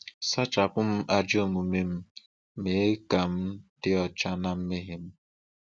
Sachapụ m ajọ omume m, mee ka m dị ọcha na mmehie m.